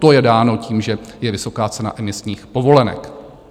To je dáno tím, že je vysoká cena emisních povolenek.